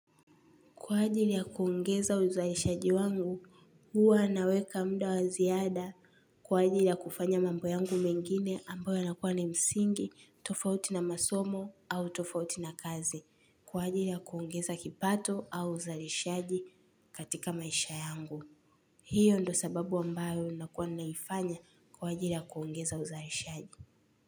Kwa ajili ya kuongeza uzalishaji wangu, huwa naweka muda wa ziada. Kwa ajili ya kufanya mambo yangu mengine ambayo yanakuwa na msingi, tofauti na masomo au tofauti na kazi. Kwa ajili ya kuongeza kipato au uzalishaji katika maisha yangu. Hiyo ndo sababu ambayo unakuwa naifanya kwa ajili ya kuongeza uzalishaji.